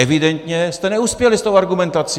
Evidentně jste neuspěli s tou argumentací.